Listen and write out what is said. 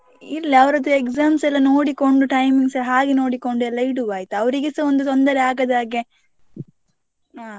ಇರ್ಲಿ ಅವರದ್ದು exams ಎಲ್ಲ ನೋಡಿಕೊಂಡು timings ಹಾಗೆ ನೋಡಿಕೊಂಡು ಎಲ್ಲ ಇಡುವ ಆಯ್ತಾ ಅವ್ರಿಗೆಸಾ ಒಂದು ತೊಂದರೆ ಆಗದ ಹಾಗೆ ಹಾ.